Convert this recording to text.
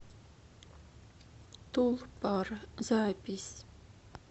тулпар запись